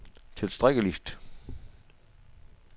tilstrækkeligt